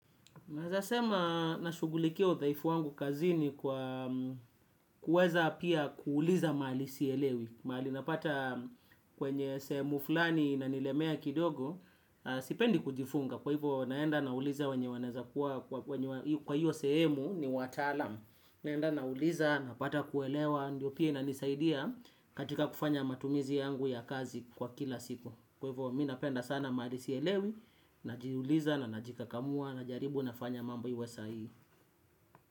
Naesasema nashugulikia udhaifu wangu kazini kwa kuweza pia kuuliza maali sielewi. Maali napata kwenye sehemu fulani nanilemea kidogo. Sipendi kujifunga kwa hivyo naenda nauliza wenye kwa hiyo sehemu ni wataalam. Naenda nauliza napata kuelewa ndio pia inanisaidia katika kufanya matumizi yangu ya kazi kwa kila siku. Kwa hivo mi napenda sana maali sielewi. Najiuliza na najikakamua. Najaribu nafanya mambo iwe sahihi.